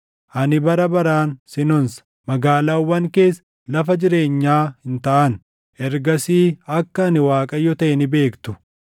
Ani bara baraan sin onsa; magaalaawwan kees lafa jireenyaa hin taʼan. Ergasii akka ani Waaqayyo taʼe ni beektu.